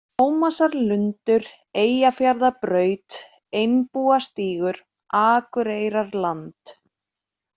Tómasarlundur, Eyjafjarðarbraut, Einbúastígur, Akureyrarland